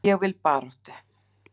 Ég vil baráttu.